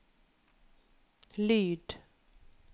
lyd